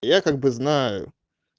я как бы знаю